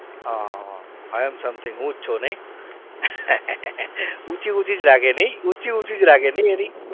હા હા હા i am something હું જ છું નહિ ઊંચી ઊંચી જ રાખે નહિ ઉંચી ઉંચી જ રાખે નહીં એની